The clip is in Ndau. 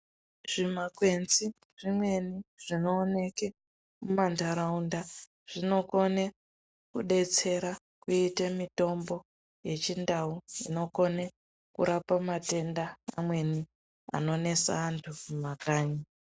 Zvimakwenzi zvimweni zvinooneke kumandaraunda zvinokone kudetsera kuite mitombo yechindau inokone kurapa matenda amweni anonesa antu mumakanyi.